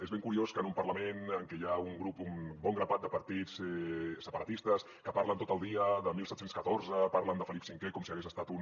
és ben curiós que en un parlament en què hi ha un bon grapat de partits separatistes que parlen tot el dia de diecisiete diez cuatro parlen de felip v com si hagués estat un